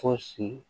Fɔ sini